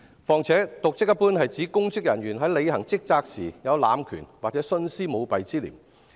再者，瀆職一般是指公職人員在履行職責時，濫權或徇私舞弊。